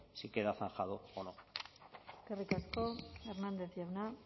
si queda zanjado o no eskerrik asko hernández jauna